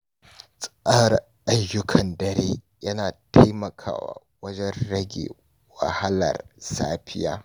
Tsara ayyukan dare yana taimakawa wajen rage wahalar safiya.